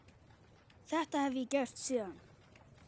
Þetta hef ég gert síðan.